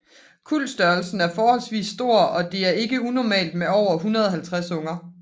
Kuldstørrelsen er forholdvis stor og det er ikke unormalt med over 150 unger